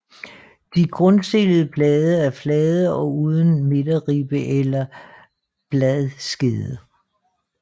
De grundstillede blade er flade og uden midterribbe eller bladskede